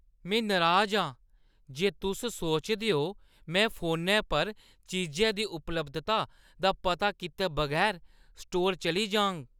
में नराज आं जे तुस सोचदे ओ ऐ में फोनै पर चीजै दी उपलब्धता दा पता कीते बगैर स्टोर चली जाङ।